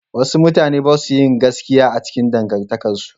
Wasu mutane ba su yin gaskiya a cikin dangantakarsu.